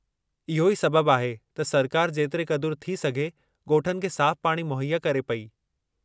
इहो ई सबबु आहे त सरकारि जेतिरे क़दुरु थी सघे ॻोठनि खे साफ़ु पाणी मुहैया करे पेई।